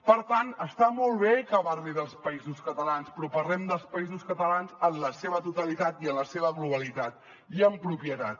per tant està molt bé que parli dels països catalans però parlem dels països catalans en la seva totalitat i en la seva globalitat i amb propietat